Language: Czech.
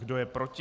Kdo je proti?